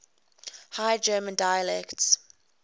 high german dialects